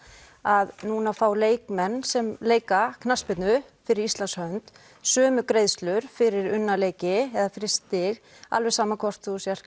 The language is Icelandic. að nú fá leikmenn sem leika knattspyrnu fyrir Íslands hönd sömu greiðslur fyrir unna leiki eða fyrir stig alveg sama hvort þú sért